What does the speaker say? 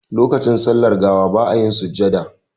Lokacin sallar gawa ba a yin sujjada.